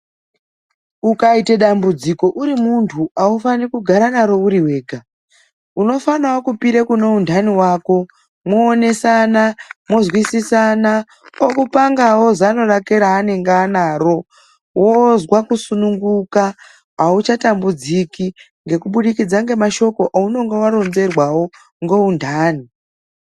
Ukaite dambudziko uri muntu aufaniri kugara naro uri wega, unofanawo kupire kune untani wako mwoonesana mwozwisisana okupangawo zano rake raanenge anaro wozwa kusununguka auchatambudziki ngekubudikidza ngemashoko aunenge waronzerwawo ngeuntani.